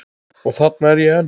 Og þarna er ég enn.